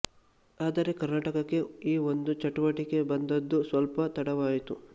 ಆದರೆ ಕರ್ನಾಟಕಕ್ಕೆ ಈ ಒಂದು ಚಟುವಟಿಕೆ ಬಂದದ್ದು ಸ್ವಲ್ಪ ತಡವಾಯಿತು